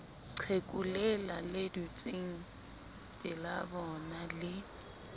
qheku lela le dutsengpelabona le